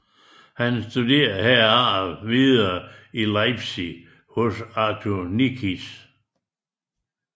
Han studerede herefter videre i Leipzig hos Arthur Nikisch